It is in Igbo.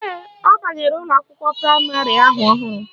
Ee, ọ banyere ụlọakwụkwọ praịmarị ahụ ọhụrụ